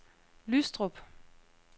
Lystrup